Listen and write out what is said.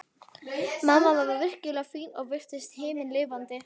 Mamma var virkilega fín og virtist himinlifandi.